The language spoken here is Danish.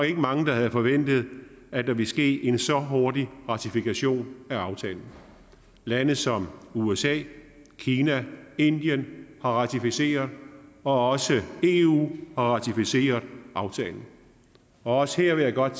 ikke mange der havde forventet at der ville ske en så hurtig ratifikation af aftalen lande som usa kina og indien har ratificeret og også eu har ratificeret aftalen også her vil jeg godt